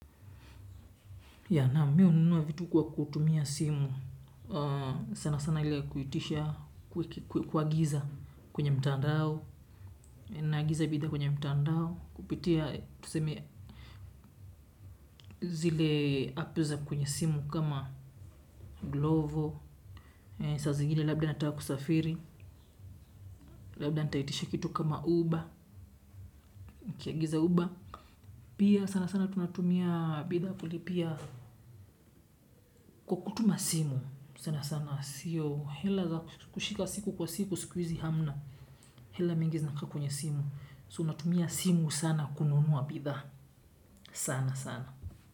Ya naam mimi hununuwa vitu kwa kutumia simu sana sana ile kuitisha kuagiza kwenye mtandao naagiza bidhaa kwenye mtandao kupitia tuseme zile app za kwenye simu kama glovo. Saa zingine labda nataka kusafiri labda nitaitisha kitu kama uber nikiagiza uber. Pia sana sana tunatumia bidhaa kulipia kwa kutuma simu sana sana sio hela za kushika siku kwa siku siku hizi hamna hela mingi zinakaa kwenye simu. So natumia simu sana kununua bidhaa. Sanasana.